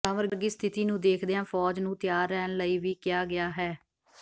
ਹੜ੍ਹਾਂ ਵਰਗੀ ਸਥਿਤੀ ਨੂੰ ਦੇਖਦਿਆਂ ਫ਼ੌਜ ਨੂੰ ਤਿਆਰ ਰਹਿਣ ਲਈ ਵੀ ਕਿਹਾ ਗਿਆ ਹੈ